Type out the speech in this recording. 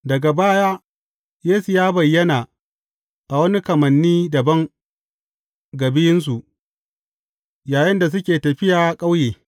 Daga baya Yesu ya bayyana a wani kamanni dabam ga biyunsu, yayinda suke tafiya ƙauye.